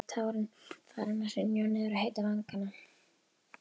Tárin farin að hrynja niður á heita vanga.